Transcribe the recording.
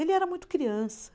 Ele era muito criança.